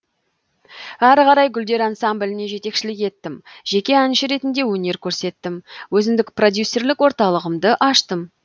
ары қарай гүлдер ансамбліне жетекшілік еттім жеке әнші ретінде өнер көрсеттім өзіндік продюсерлік орталығымды аштым